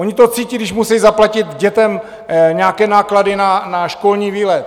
Oni to cítí, když musí zaplatit dětem nějaké náklady na školní výlet.